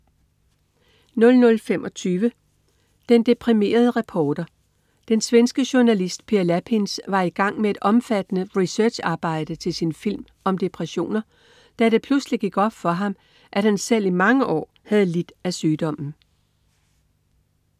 00.25 Den deprimerede reporter. Den svenske journalist Per Lapins var i gang med et omfattende researcharbejde til sin film om depressioner, da det pludselig gik op for ham, at han selv i mange år havde lidt af sygdommen